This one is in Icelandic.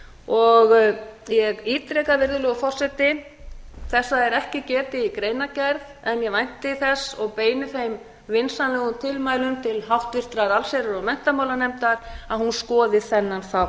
var nefnt ég ítreka virðulegur forseti þessa er ekki getið í greinargerð en ég vænti þess og beini þeim vinsamlegu tilmælum til háttvirtrar allsherjar og menntamálanefndar að hún skoði þennan þátt